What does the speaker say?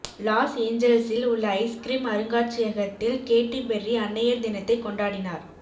loss ஏஞ்சல்ஸில் உள்ள ice cream அருங்காட்சியகத்தில் கேட்டி பெர்ரி அன்னையர் தினத்தை கொண்டாடினார்